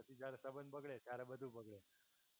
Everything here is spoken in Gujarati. પછી જ્યારે સબંધ બગળે ત્યારે બધુ બગળે.